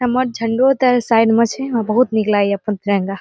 हमर झंडों ते साइड में छै हमरा बहुत निक लागे छै अपन तिरंगा ।